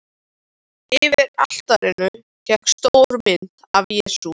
Yfir altarinu hékk stór mynd af Jesú.